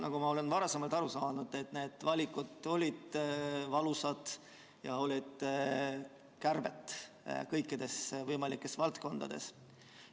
Nagu ma olen aru saanud, need valikud olid valusad ja kärped olid kõikides võimalikes valdkondades.